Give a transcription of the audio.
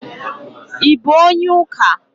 I bụ onye ụka?